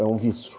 É um vício.